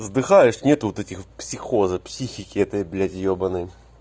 сдыхаешь нет вот этих психоза психики этой блять ебанной